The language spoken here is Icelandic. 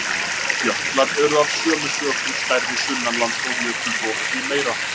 Jöklar eru af sömu sökum stærri sunnanlands og jökulrof því meira.